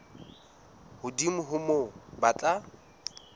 hodimo ho moo ba tla